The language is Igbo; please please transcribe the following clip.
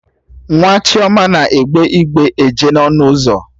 Nwa Chioma na-egbe igbe eje n'ọnụ ụzọ